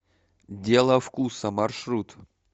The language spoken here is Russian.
дело вкуса маршрут